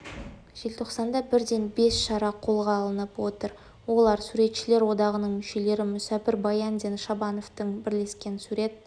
желтоқсанда бірден бес шара қолға алынып отыр олар суретшілер одағының мүшелері мүсәпір баяндин шабановтардың бірлескен сурет